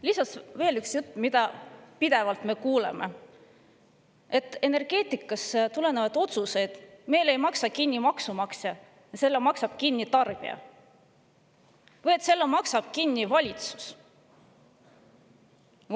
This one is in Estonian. Lisaks veel üks jutt, mida me pidevalt kuuleme: et energeetikaotsuseid meil ei maksa kinni maksumaksja, need maksab kinni tarbija või et selle maksab kinni valitsus.